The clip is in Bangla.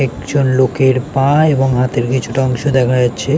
একজন লোকের পা- এবং হাতের কিছুটা অংশ দেখা যাচ্ছে।